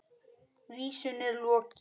Vísunni er lokið.